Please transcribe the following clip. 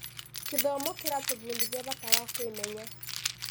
Gĩthomo kĩratũbundithia bata wa kwĩmenya.